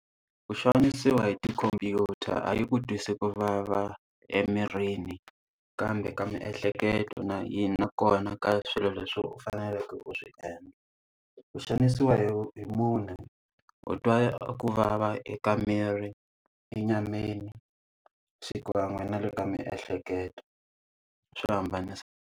Ku xanisiwa hi tikhomphyuta a yi ku twisi ku vava emirini, kambe ka miehleketo na na kona ka swilo leswi u faneleke u swi endla. Ku xanisiwa hi hi munhu u twa ku vava eka miri, enyameni, xikan'we na le ka miehleketo swi .